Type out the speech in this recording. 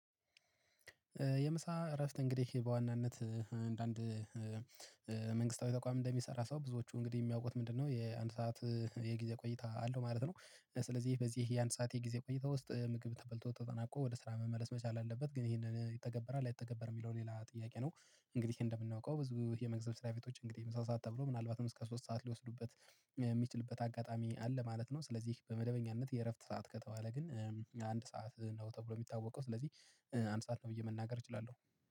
የምሳ እረፍት እንግዲህ በዋናነት አንዳንድ ተቋም እንደሚሰራ ሰው ብዙዎቹ እንግዲህ የሚያውቁት ምንድነው? የአንድ ሰዓት የጊዜ ቆይታ አለው ማለት ነው። ስለዚህ በዚህ የአንድ ሰዓት የጊዜ ቆይታ ውስጥ ምግብ ተበልቶ ተጠናቆ ወደ ስራ መመለስ መቻል አለበት። ግን ይሄንን ይተገበራል አይተገበርም የሚለው ሌላ ጥያቄ ነው። እንግዲህ እንደምናውቀው ብዙ የመግስት ስራ ቤቶች እንግዲህ ምሳ ሰዓት ተብሎ ምናልባትም እስከ ሶስት ሰዓት ሊወስዱበት የሚችልበት አጋጣሚ አለ ማለት ነው። ስለዚህ በመደበኛነት የእረፍት ሰዓት ከተባለ ግን አንድ ሰዓት ነው ተብሎ የሚታወቀው። ስለዚህ አንድ ሰዓት ነው ብዬ መናገር እችላለሁ